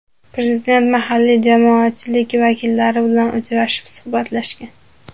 Prezident mahalliy jamoatchilik vakillari bilan uchrashib, suhbatlashgan .